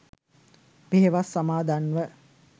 පෙහෙවස් සමාදන්ව